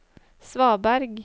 svaberg